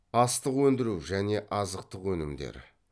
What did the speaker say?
астық өндіру және азыттық өнімдер